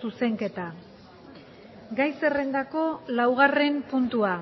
zuzenketa gai zerrendako laugarren puntua